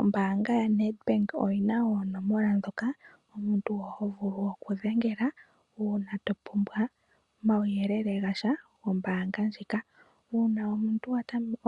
Ombanga yaNedbank oyina onomola dhoka omuntu ho vulu oku dhengela una to pumbwa omawuyelele gasha gombanga ndjika. Una omuntu